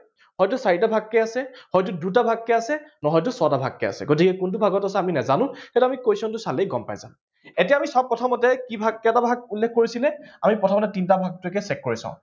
হয়তো চাৰিটা ভাগকে আছে হয়তো দুটা ভাগকে আছে, নহয়টো ছটা ভাগকে আছে। গতিকে কোনটো ভাগত আছে আমি নাজানো, গতিকে সেইটো আমি question টো চালেই আমি গম পাই যাম। এতিয়া চাওঁ আমি প্ৰথমতে চাওঁ কি ভাগ কেইটা ভাগ উল্লেখ কৰিছে, আমি প্ৰথমতে তিনিটা ভাগটোকে check কৰি চাওঁ